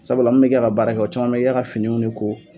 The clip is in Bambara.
Sabula, ne bɛ min kɛ ka baara kɛ caman bɛ kɛ ka finiw ko.